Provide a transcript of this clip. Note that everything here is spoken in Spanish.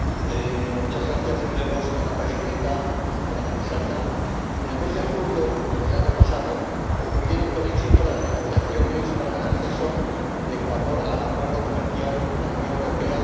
Señora Presidenta, señora Comisaria, en el mes de julio del año pasado concluyeron con éxito las negociaciones para la adhesión de Ecuador al Acuerdo comercial entre la Unión Europea y Colombia y Perú.